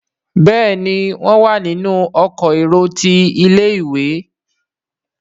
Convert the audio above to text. Béèni wón wá nínú Ọkọ̀ èrò tí ilé-ìwé.